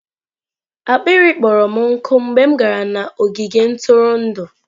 akpịrị kpọrọ m nkụ mgbe m gara n'ogige ntụrụndụ.